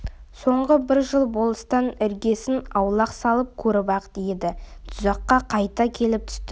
соңғы бір жыл болыстан іргесін аулақ салып көріп-ақ еді тұзаққа қайта келіп түсті